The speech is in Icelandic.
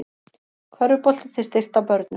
Körfubolti til styrktar börnum